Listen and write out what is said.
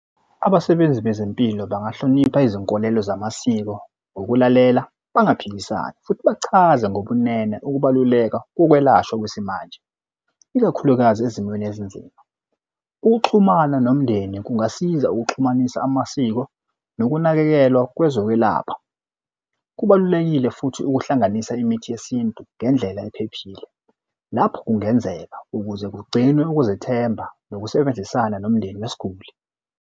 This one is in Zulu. Abasebenzi bezempilo bangahlonipha izinkolelo zamasiko ukulalela bangaphikisani futhi bachaze ngobumnene ukubaluleka kokwelashwa kwesimanje, ikakhulukazi ezimweni ezinzima. Ukuxhumana nomndeni kungasiza ukuxhumanisa amasiko nokunakekelwa kwezokwelapha. Kubalulekile futhi ukuhlanganisa imithi yesintu ngendlela ephephile lapho kungenzeka, ukuze kugcinwe ukuzethemba nokusebenzisana nomndeni wesiguli.